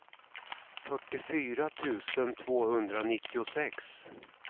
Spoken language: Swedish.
fyrtiofyra tusen tvåhundranittiosex